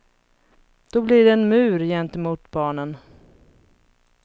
Då blir det en mur gentemot barnen.